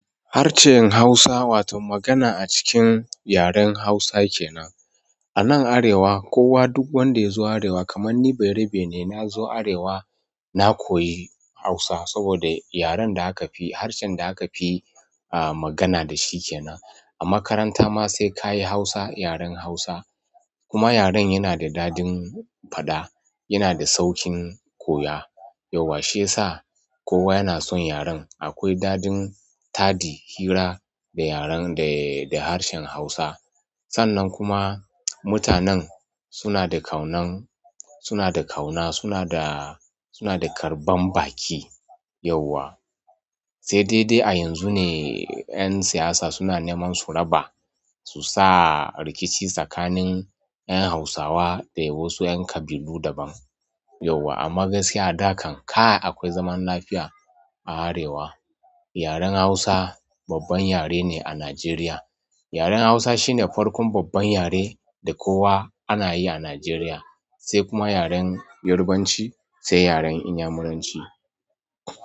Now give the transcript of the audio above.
Harshen Hausawa wato magana a cikin yaren Hausa kenan. A nan Arewa kowa duk wanda ya zo Arewa kaman ni bayerabe ne. Na zo Arewa na koyi Hausa saboda yaren da aka fi harshen da aka fi a magana da shi kenan. A makaranta ma sai ka yi Hausa, yaren Hausa. Kuma yaren yana da daɗin faɗa, yana da sauƙin koya. Yauwa shiyasa kowa yana son yaren. Akwai daɗin taɗi hira da yaren da harshen Hausa. Sannan kuma mutanen suna da ƙaunan, suna da ƙauna, suna da, suna da karɓan baki yauwa. Sai dai dai a yanzu ne ƴan siyasa suna nemansu raba su sa rikici ƴan Hausawa da wasu ƴan ƙabilu daban yauwa amma gaskiya a da kan kai akwai zaman lafiya a Arewa. Yaren Hausa babban yare ne a Najeriya. Yaren Hausa shine farkon babban yare da kowa anayi a Najeriya sai kuma yaren yarbanci sai yaren inyamuranci.